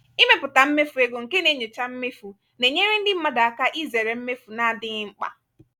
ịmepụta mmefu ego nke na-enyocha mmefu na-enyere ndị mmadụ aka izere mmefu na-adịghị mkpa.